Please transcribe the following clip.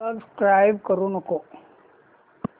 subscribe करू नको